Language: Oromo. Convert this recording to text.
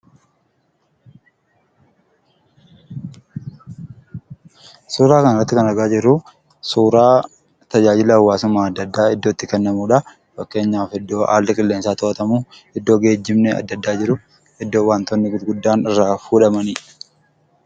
Suuraa kana irratti kan argaa jirruu, suuraa tajaajila hawaasummaa addaa addaa Iddoo itti kennamuudha. Fakkeenyaaf iddoo haalli qilleensaa to'atamu, iddoo geejjibni addaa addaa jiru, iddoo waantonni gurguddaan irraa fuudhamaniidha.